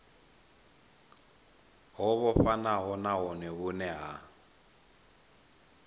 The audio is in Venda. ho vhofhanaho nahone vhune ha